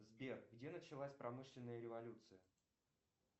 сбер где началась промышленная революция